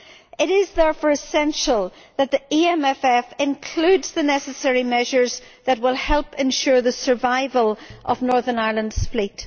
It is therefore essential that the EMFF includes the necessary measures to help ensure the survival of Northern Ireland's fleet.